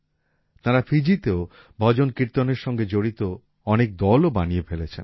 তাঁরা ফিজিতেও ভজন কীর্তন সঙ্গে জড়িত অনেক দলও বানিয়ে ফেলেছেন